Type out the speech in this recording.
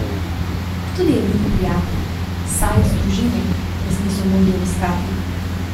Tudi edini prijatelji, Sajd z družino, nas niso mogli obiskati.